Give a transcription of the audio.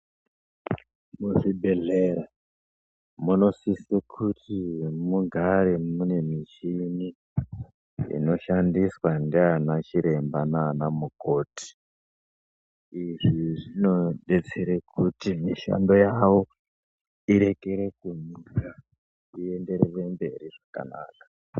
Muzvibhedhlera munosise kuti mugare munemichini inoshandiswa nde anachiremba nanamukoti. Izvi zvinodetsere kuti mishando yawo irekere kumira iyenderere mberi zvakanaka.